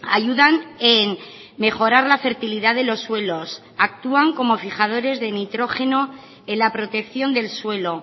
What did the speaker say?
ayudan en mejorar la fertilidad de los suelos actúan como fijadores de nitrógeno en la protección del suelo